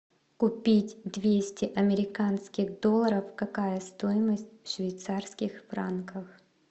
купить двести американских долларов какая стоимость в швейцарских франках